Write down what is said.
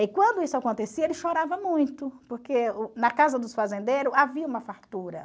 E quando isso acontecia, ele chorava muito, porque o na casa dos fazendeiros havia uma fartura.